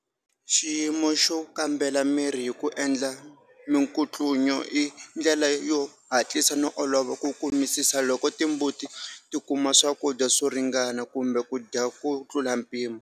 Xiyimo xo kambela miri hi ku endla minkutlunyo i ndlela yo hatisa no olova ku kumisisa loko timbuti ti kuma swakudya swo ringana, kumbe ku dya ku tlula mpimo.